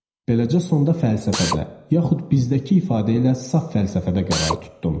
Beləcə sonda fəlsəfədə, yaxud bizdəki ifadə ilə saf fəlsəfədə qərar tutdum.